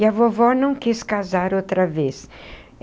E a vovó não quis casar outra vez.